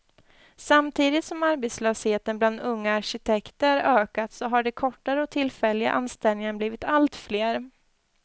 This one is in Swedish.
Samtidigt som arbetslösheten bland unga arkitekter ökat så har de kortare och tillfälliga anställningarna blivit allt fler.